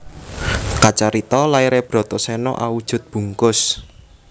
Kacarita laire Bratasena awujud bungkus